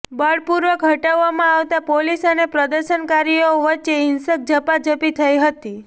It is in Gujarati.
બળપૂર્વક હટાવવામાં આવતા પોલીસ અને પ્રદર્શનકારીઓ વચ્ચે હિંસક ઝપાઝપી થઈ હતી